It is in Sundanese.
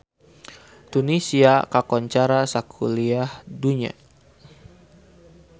Tunisia kakoncara sakuliah dunya